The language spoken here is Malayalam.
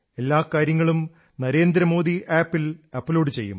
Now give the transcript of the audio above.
എല്ലാ കാര്യങ്ങളും നരേന്ദ്രമോദി ആപ് ൽ അപ്ലോഡ് ചെയ്യും